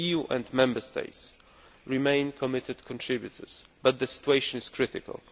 The EU and Member States remain committed contributors, but the situation is critical.